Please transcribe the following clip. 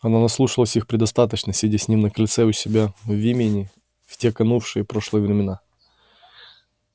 она наслушалась их предостаточно сидя с ним на крыльце у себя в имении в те канувшие в прошлые времена